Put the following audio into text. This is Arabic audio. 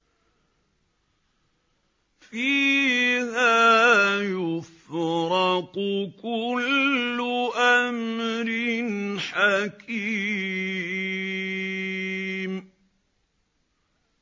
فِيهَا يُفْرَقُ كُلُّ أَمْرٍ حَكِيمٍ